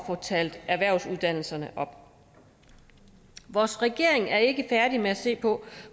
få talt erhvervsuddannelserne op vores regering er ikke færdig med at se på